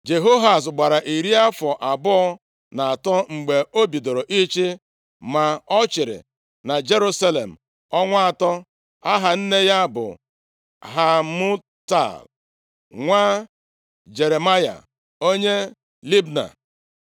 Jehoahaz gbara iri afọ abụọ na atọ mgbe o bidoro ịchị, ma ọ chịrị na Jerusalem ọnwa atọ. Aha nne ya bụ Hamutal, nwa Jeremaya onye Libna.